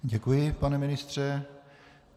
Děkuji, pane ministře.